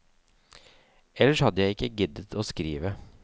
Ellers hadde jeg ikke giddet å skrive.